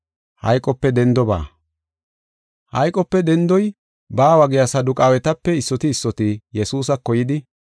Hayqope dendoy baawa giya Saduqaawetape issoti issoti Yesuusako yidi,